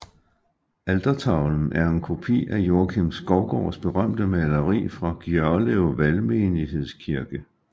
Altertavlen er en kopi af Joakim Skovgaards berømte maleri fra Gjørlev Valgmenighedskirke